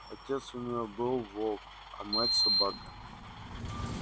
отец у неё был волк а мать собака